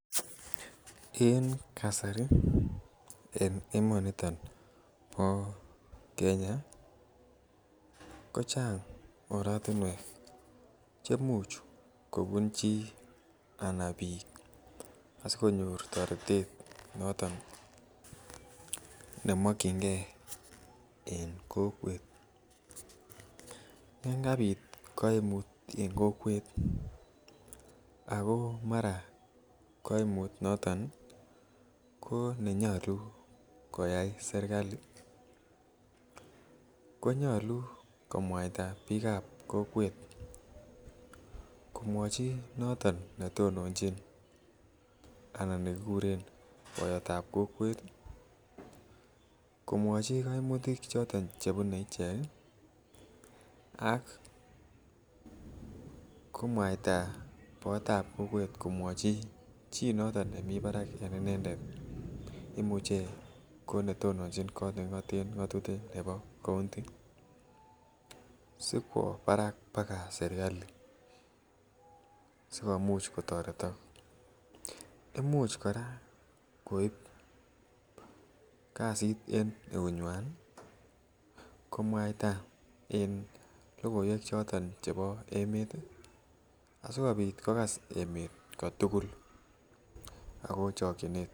En kasari en emoniton bo Kenya kochang oratuniek cheimuche kobun che anan bik asikonyor toretet noton nemakienge en kokwet. Yoon kabit kaimut en kokwet ih ako mara kaimut noto nenyalu , koyai serkali, konyalu komwaita bikab kokwet komwachi noton netononchin anan nekikuren bayatab kokwet, komwachi kaimutik choton chebune icheket ak komwaita bayotab kokwet komwachi chi noton nebo kokwet nemi barak ak inendet kot neking'aten ng'atutik nebo kaunti, sikwo barak baga serkali sikomuch kotaretok imuch kora koib kasit en eunyuan ih , komwaita en logoiwek choton, chebo emet ih, asikobit kogas emet ko tugul.